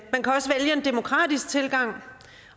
demokratisk tilgang